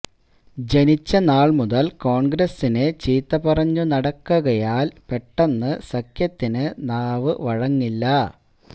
ജനിച്ച നാൾ മുതൽ കോൺഗ്രസിനെ ചീത്ത പറഞ്ഞു നടക്കുകയാൽ പെട്ടെന്ന് സഖ്യത്തിനു നാവ് വഴങ്ങില്ല